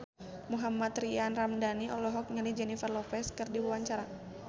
Mohammad Tria Ramadhani olohok ningali Jennifer Lopez keur diwawancara